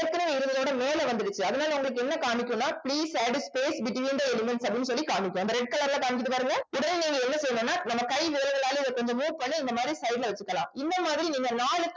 ஏற்கனவே இருந்ததை விட மேல வந்திடுச்சு. அதனால உங்களுக்கு என்ன என்ன காமிக்கும்னா please add space between the elements அப்படின்னு சொல்லி காமிக்கும் அந்த red colour ல காமிக்குது பாருங்க உடனே நீங்க என்ன செய்யணும்னா நம்ம கை விரல்களால இத கொஞ்சம் move பண்ணி இந்தமாரி side ல வச்சுக்கலாம் இந்த மாதிரி நீங்க நாலு